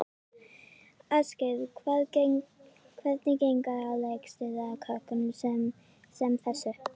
Ásgeir: Og hvernig gengur að leikstýra krökkum sem þessu?